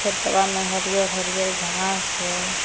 खेतवा मे हरियर हरियर घास हई।